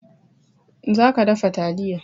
Za ka dafa taliya!